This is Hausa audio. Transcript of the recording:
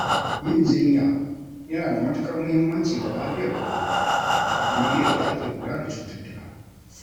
Yin jinya yana da matukar mahimmanci ga lafiyar ƙwaƙwalwa, kamar yadda ake kula da cututtuka.